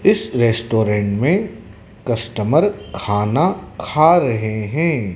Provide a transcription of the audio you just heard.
इस रेस्टोरेंट में कस्टमर खाना खा रहे हैं।